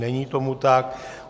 Není tomu tak.